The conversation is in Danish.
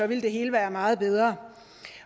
ville det hele være meget bedre